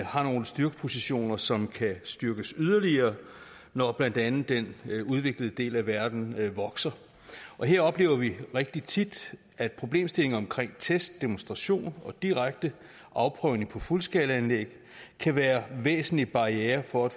har nogle styrkepositioner som kan styrkes yderligere når blandt andet den udviklede del af verden vokser og her oplever vi rigtig tit at problemstillingen omkring test demonstration og direkte afprøvning på fuldskalaanlæg kan være væsentlige barrierer for at